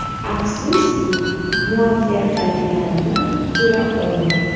Afsuski, muvaffaqiyatlarimni ko‘ra olmadi.